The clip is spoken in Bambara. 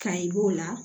Kayi b'o la